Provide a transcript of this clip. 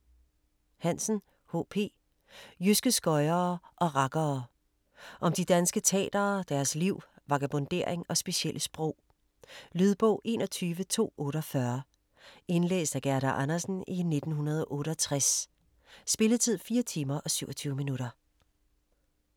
Hansen, H. P.: Jyske skøjere og rakkere Om de danske tatere, deres liv, vagabondering og specielle sprog. Lydbog 21248 Indlæst af Gerda Andersen, 1968. Spilletid: 4 timer, 27 minutter.